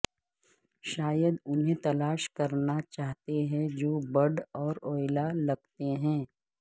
شاید وہ انہیں تلاش کرنا چاہتے ہیں جو بڈ اور اویلا لگتے ہیں